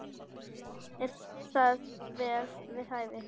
Er það vel við hæfi.